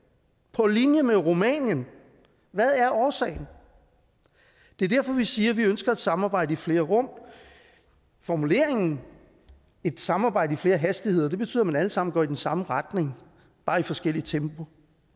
på linje med rumænien hvad er årsagen det er derfor vi siger at vi ønsker et samarbejde i flere rum formuleringen et samarbejde i flere hastigheder betyder at man alle sammen går i den samme retning bare i forskelligt tempo